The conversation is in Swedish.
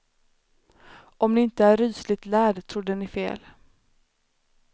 Om ni inte är rysligt lärd trodde ni fel.